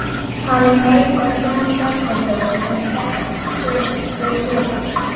Hann leit á Jón Bjarnason sem gekk við hlið hans.